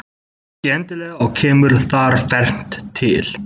Ekki endilega og kemur þar fernt til.